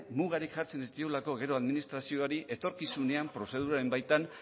mugarik jartzen ez diolako gero administrazioari etorkizunean prozeduraren baitan